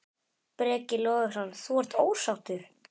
Breki Logason: Þú ert ósáttur?